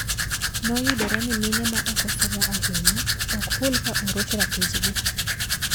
Noyudore ni mine maoko somo ahinya ok hul ka oroch ratich gi.